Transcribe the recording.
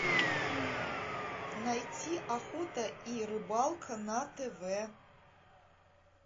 найти охота и рыбалка на тв